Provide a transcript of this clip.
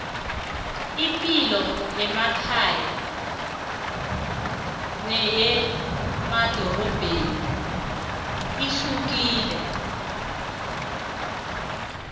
ipilo yemakhaya neyemadorobheni ihlukile